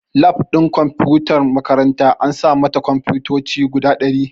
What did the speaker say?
Lab ɗin kumfutar makaranta an sa mata kunfotoci guda ɗari